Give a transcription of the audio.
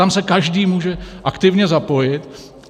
Tam se každý může aktivně zapojit.